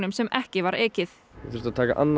sem ekki var ekið ég þurfti að taka annan